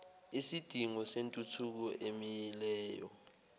isidingo sentuthuko emileyo